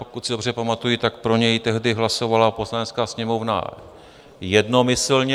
Pokud si dobře pamatuji, tak pro něj tehdy hlasovala Poslanecká sněmovna jednomyslně.